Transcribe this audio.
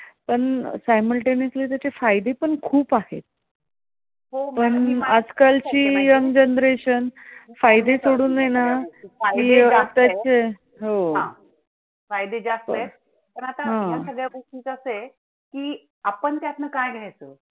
फायदे जास्त आहेत, पण आता अह या सगळ्या गोष्टींचा अंस आहे, की आपण त्यातन काय घ्यायचं आहे?